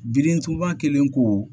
Birintuba kelen ko